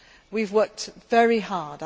best. We have worked very